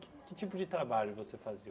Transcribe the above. Que que tipo de trabalho vocês faziam?